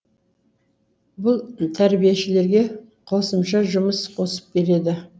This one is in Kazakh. бұл тәрбиешілерге қосымша жұмыс қосып береді